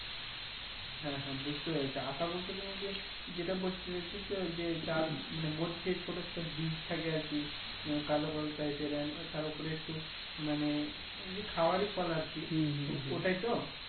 হ্যাঁ হ্যাঁ বুজতে পেরেছি আতা বলতে তুমি কি যেটা বলতে চাইছো যে যার মধ্যে ছোট ছোট বীজ থাকে আরকি কালো কালো টাইপের তার উপরে একটু মানে খাওয়ারই ফল আরকি ওটাই তো